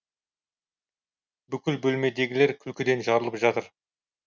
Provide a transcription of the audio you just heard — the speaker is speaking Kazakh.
бүкіл бөлмедегілер күлкіден жарылып жатыр